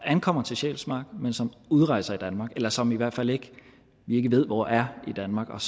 ankommer til sjælsmark men som udrejser af danmark eller som vi i hvert fald ikke ved hvor er i danmark og